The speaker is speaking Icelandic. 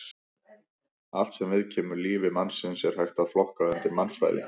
Allt sem viðkemur lífi mannsins er hægt að flokka undir mannfræði.